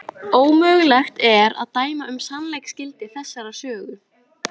Ómögulegt er að dæma um sannleiksgildi þessarar sögu.